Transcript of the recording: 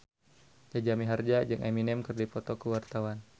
Jaja Mihardja jeung Eminem keur dipoto ku wartawan